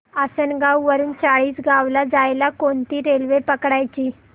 आसनगाव वरून चाळीसगाव ला जायला कोणती रेल्वे पकडायची